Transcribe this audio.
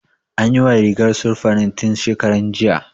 An yiwa rigar sirfanin tun shekaran jiya